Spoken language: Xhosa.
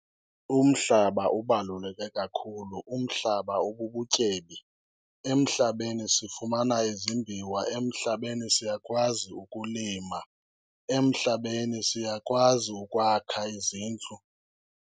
Umhlaba ubaluleke kakhulu, umhlaba ububutyebi. Emhlabeni sifumana izimbiwa, emhlabeni siyakwazi ukulima, emhlabeni siyakwazi ukhwakha izindlu.